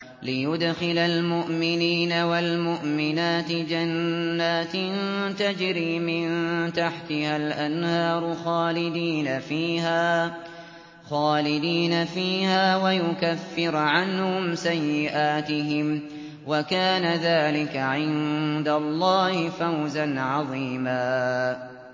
لِّيُدْخِلَ الْمُؤْمِنِينَ وَالْمُؤْمِنَاتِ جَنَّاتٍ تَجْرِي مِن تَحْتِهَا الْأَنْهَارُ خَالِدِينَ فِيهَا وَيُكَفِّرَ عَنْهُمْ سَيِّئَاتِهِمْ ۚ وَكَانَ ذَٰلِكَ عِندَ اللَّهِ فَوْزًا عَظِيمًا